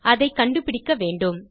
அதை கண்டுபிடிக்க வேண்டும்